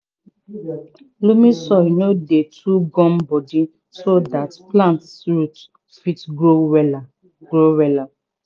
loamy soil no dey too gum-bodi so dat plant root fit grow wella grow wella